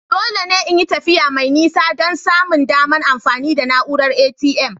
Dole ne in yi tafiya mai nisa don samun daman amfani da na'uran ATM.